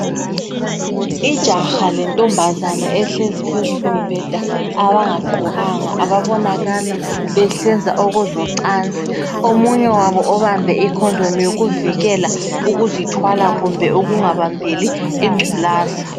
Ijaha lentombazana ehlezi phezukombheda abangagqokanga ababonakala besenza okocansi, omunye wabo obambe ikhondomu yokuvikela ukuzithwala kumbe ukungabambeli ingculaza.